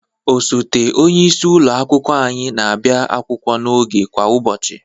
Osote onyeisi ụlọ akwụkwọ anyị na-abịa akwụkwọ n'oge kwa ụbọchị.